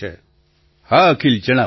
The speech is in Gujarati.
પ્રધાનમંત્રી હા અખિલ જણાવો